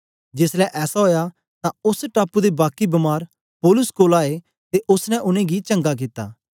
जेसलै ऐसा ओया तां ओस टापू दे बाकी बमार पौलुस कोल आए ते ओसने उनेंगी चंगा कित्ता